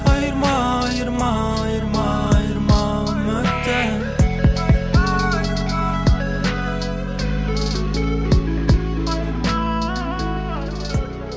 айырма айырма айырма айырма үміттен